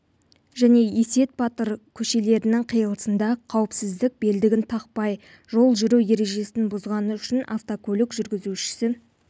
және есет батыр көшелерінің қиылысында қауіпсіздік белдігін тақпай жол жүру ережесін бұзғаны үшін автокөлік жүргізушісі